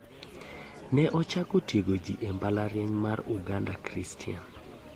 Ne ochako gi tiego ji e mbalariany mar Uganda christian.